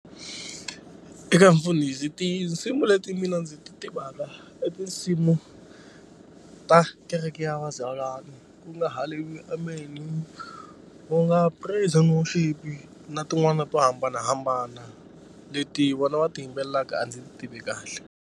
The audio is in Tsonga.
Eka mfundhisi tinsimu leti mina ndzi ti tivaka i tinsimu ta kereke ya vazalwana ku nga haleluya amen-i nga praise and worship na tin'wani to hambanahambana leti vona va ti yimbelelaka a ndzi ti tivi kahle.